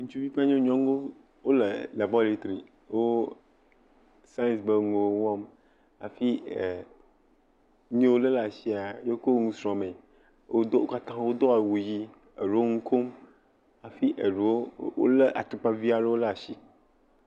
Ŋutsuvi kple nyɔ, nyɔnuwo, wole laboratri. Wo saɛŋsi ƒe nuwo wɔm hafi ɛɛ nuyi wo lé laa shia, ye wokɔ nu srɔ̃mee. Wodo, wo katã wodo awu yii. Eɖewo ŋu kom hafi eɖewo wolé atukpavi aɖewo ɖe ashi.